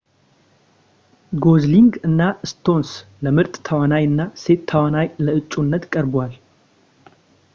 ጎዝሊንግ እና ስቶንስ ለምርጥ ተዋናይ እና ሴት ተዋናይ ለአጩነት ቀርብዋል